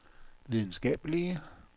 videnskabelige